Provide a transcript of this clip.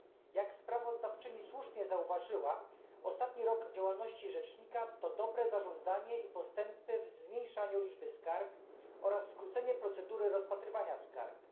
Jak sprawozdawczyni słusznie zauważyła, ostatni rok działalności rzecznika to dobre zarządzanie i postępy w zmniejszaniu liczby skarg oraz skrócenie procedury rozpatrywania skarg.